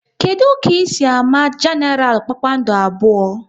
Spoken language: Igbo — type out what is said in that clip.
Kedụ ka ị si ámá Genaral kpakpando abụọ?